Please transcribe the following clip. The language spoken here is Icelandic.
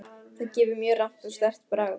Það gefur mjög rammt og sterkt bragð.